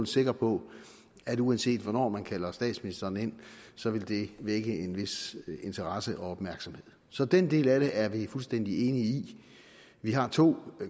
sikker på at uanset hvornår man kalder statsministeren ind så vil det vække en vis interesse og opmærksomhed så den del af det er vi fuldstændig enige i vi har to